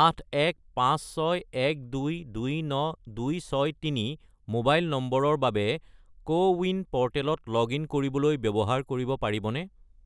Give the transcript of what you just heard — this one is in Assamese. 81561229263 মোবাইল নম্বৰৰ বাবে কোৱিন প'ৰ্টেলত লগ-ইন কৰিবলৈ ব্যৱহাৰ কৰিব পাৰিবনে?